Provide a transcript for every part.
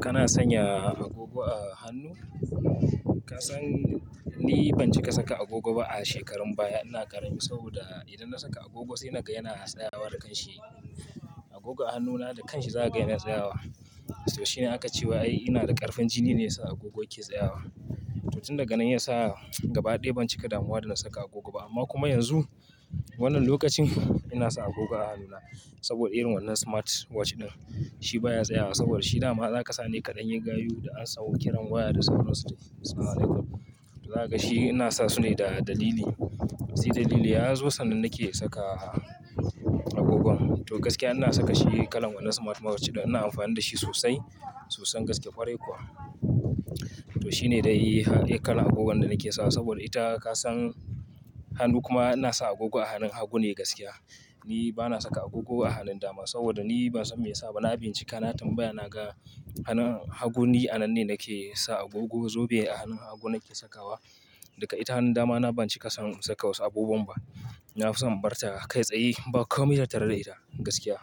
Kana sanya agogo a hannu? Ka san ni ban cika saka agogo ba a shekarun baya. Ina ƙarami saboda idan na saka agogo sai naga yana tsayawa da kanshi. Agogo a hannuna da kanshi za kaga yana tsayawa. To shine aka cewa ai ina da ƙarfin jini ne yasa agogon yake tsayawa. To tun daga nan yasa gaba ɗaya ban cika damuwa dana saka agogo ba. Amma kuma yanzu wannan lokacin ina sa agogo a hannuna saboda irin wannan smartwatch ɗin. Shi baya tsayawa saboda shi dama zakasa ne kaɗan yi gayu da amsan kiran waya da sauran su dai assalamu alaikum. To zaka ga shi ina sa sune da dalili. Sai dalili yazo sannan nake saka agogon. To gaskiya ina sakashi kalan wannan smartwatch ɗin ina amfani dashi sosai sosai gaskiya kwarai kuwa. To shi ne dai kalan agogon da nake sawa saboda ita ka san hannu kuma ina sa agogo a hannun hagu ne gaskiya. Ni bana saka agogo a hannun dama saboda ni bansan me yasa ba. Na bincika, na tambaya, na ga hannun hagu ni a nan ne nake sa agogo. Zobe a hannun hagu nake sakawa. Daka ita hannun damana ban cika son saka wasu abubuwan ba. Na fi son in barta kai tsaya ba komai tattare da ita gaskiya.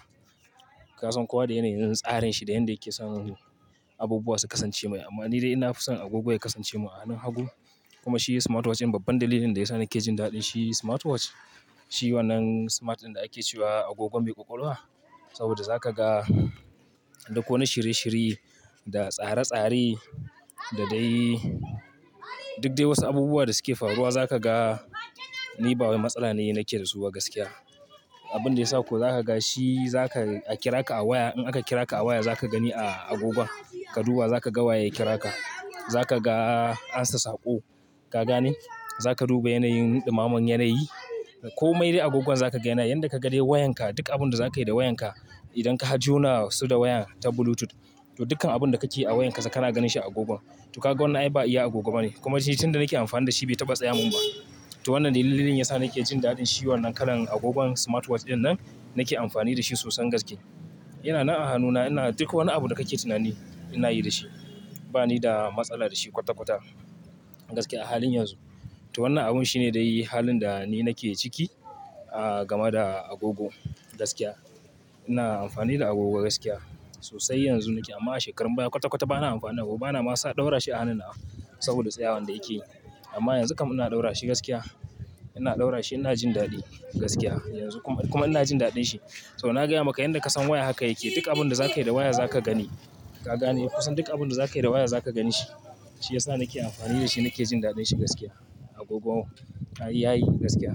Ka san kowa da yanayin tsarin shi da yanda yake son abubuwa su kasance mai. Amma ni dai ina fi son agogo ya kasance mun a hannun hagu. Kuma shi smartwatch in babban dalilin daya sa nake jin daɗin shi smartwatch. Shi wannan smart ɗin da ake cewa agogo mai ƙwaƙwalwa saboda za kaga duk wani shirye shirye, da tsare-tsare, da dai duk dai wasu abubuwa da suke faruwa za kaga. Ni ba wai matsala ne nake dasu ba gaskiya. Abinda yasa kuwa zaka gashi zaka a kira ka a waya. In aka kira ka a waya zaka gani a agogon. Ka duba za kaga waye yake kira ka. Za kaga ansa saƙo. Ka gane? Za ka duba yanayin ɗumamen yanayi. Komai dai agogon zaka ga yanayi. Yanda kaga dai wayanka duk abin da zakayi da wayanka idan ka har jona su da wayan ta Bluetooth to dukkan abun da kakeyi a wayanka za kana ganin shi a agogon. To kaga wannan ai ba iya agogo bane. Kuma shi tun da nake amfani da shi bai taɓa tsayawa minba. To wannan dalilin yasa nake jin daɗin shi wannan kalan agogon smartwatch ɗin nan nake amfani dashi sosan gaske. Yana nan a hannuna ina duk wani abu da kake tunani ina yi dashi. Ba nida matsala da shi kwata-kwata gaskiya a halin yanzu. To wannan abun shine dai halin dani nake ciki, game da agogo gaskiya. Ina amfani da agogo gaskiya sosai yanzu nake. Amma a shekarun baya kwata-kwata bana amfana agogo. Bana ma sa ɗaura shi a hannuna saboda tsayawan da yake. Amma yanzu kam ina ɗaura shi gaskiya. Ina ɗaura shi ina jin daɗi gaskiya. Kuma ina jin daɗinshi. To na gaya maka yanda kasan waya haka yake. Duk abinda zakayi da waya zaka gani. Ka gane? Kusan duk abunda zakayi da waya zaka ganshi. Shi yasa nake amfani dashi nake jin daɗin shi gaskiya agogon. Ai yayi gaskiya.